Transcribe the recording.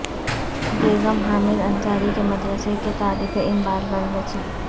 بیگم حامد انصاری کے مدرسہ کے طالب علم بال بال بچے